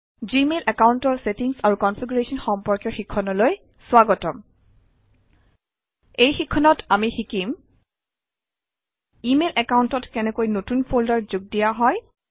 Gmail একাউণ্টৰ settings আৰু configuration সম্পৰ্কীয় শিক্ষণলৈ স্বাগতম এই শিক্ষণত আমি শিকিম ইমেইল একাউণ্টত কেনেকৈ নতুন ফল্ডাৰ যোগ দিয়া হয়